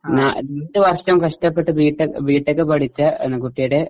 രണ്ടുവർഷം കഷ്ടപ്പെട്ട് BTech BTech പഠിച്ച കുട്ടിയുടെ